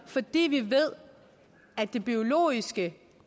fordi vi ved at det biologiske